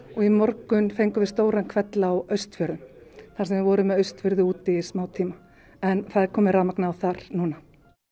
og í morgun fengum við stóran hvell á Austfjörðum þar sem við vorum með Austfirði úti í smá tíma en það er komið rafmagn þar núna